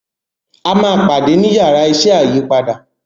a má pàdé ní Yàrá iṣẹ́ ayípadà.